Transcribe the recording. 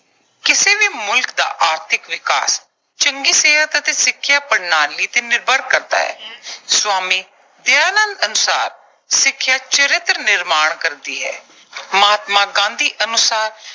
ਕਿਸੇ ਵੀ ਮੁਲਕ ਦਾ ਆਰਥਿਕ ਵਿਕਾਸ ਚੰਗੀ ਸਿਹਤ ਅਤੇ ਸਿੱਖਿਆ ਪ੍ਰਣਾਲੀ ਤੇ ਨਿਰਭਰ ਕਰਦਾ ਹੈ। ਸਵਾਮੀ ਦਯਾਨੰਦ ਅਨੁਸਾਰ ਸਿੱਖਿਆ ਚਰਿੱਤਰ ਨਿਰਮਾਣ ਕਰਦੀ ਹੈ। ਮਹਾਤਮਾ ਗਾਂਧੀ ਅਨੁਸਾਰ